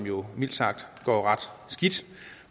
jo mildt sagt går ret skidt